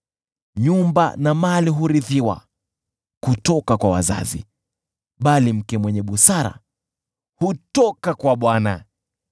Nyumba na mali hurithiwa kutoka kwa wazazi, bali mke mwenye busara hutoka kwa Bwana .